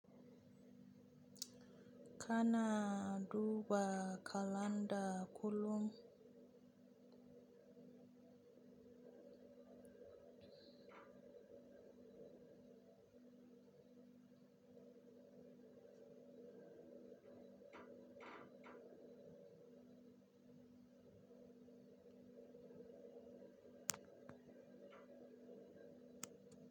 Kana duba kalanda kullum.